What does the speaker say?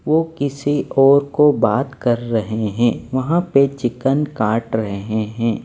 वो किसी और को बात कर रहे हैं वहां पे चिकन काट रहे हैं।